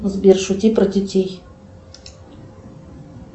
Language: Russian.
сбер шути про детей